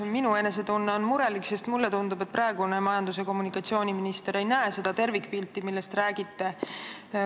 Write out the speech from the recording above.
Minu enesetunne on murelik, sest mulle tundub, et praegune majandus- ja kommunikatsiooniminister ei näe seda tervikpilti, millest te räägite.